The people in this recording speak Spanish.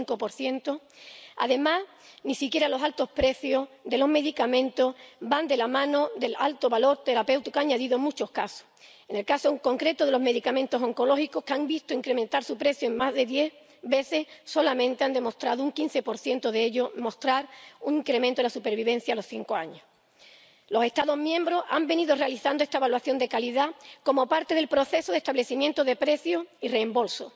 85 Además, ni siquiera los altos precios de los medicamentos van de la mano del alto valor terapéutico añadido en muchos casos. En el caso, en concreto, de los medicamentos oncológicos, que han visto multiplicarse su precio por más de diez, solamente han demostrado un 15 de ellos mostrar un incremento en la supervivencia a los 5 años. Los Estados miembros han venido realizando esta evaluación de calidad como parte del proceso de establecimiento de precios y reembolso.